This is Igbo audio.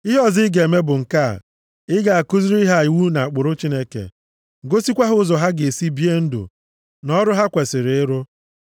Ihe ọzọ ị ga-eme bụ nke a: ị ga-akụziri ha iwu na ụkpụrụ Chineke, gosikwa ha ụzọ ha ga-esi bie ndụ, na ọrụ ha kwesiri ịrụ.